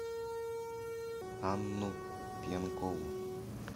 анну пьянкову